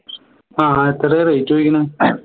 ആഹ് എത്രയാ rate ചോദിക്കണേ